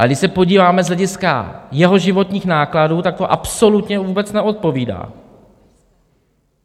Ale když se podíváme z hlediska jeho životních nákladů, tak to absolutně vůbec neodpovídá.